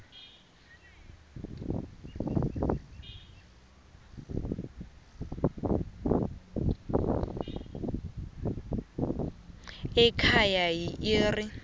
ekhaya yi r